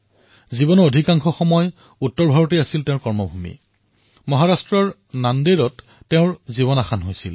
জীৱনৰ অধিকাংশ সময়লৈ উত্তৰ ভাৰতেই তেওঁৰ কৰ্মভূমি আছিল আৰু মহাৰাষ্ট্ৰৰ নাণ্ডেড়ত তেওঁ দেহত্যাগ কৰিছিল